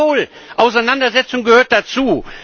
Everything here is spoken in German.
Jawohl, Auseinandersetzung gehört dazu.